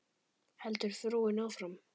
heldur frúin áfram.